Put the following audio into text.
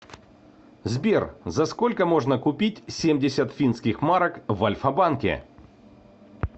сбер за сколько можно купить семьдесят финских марок в альфа банке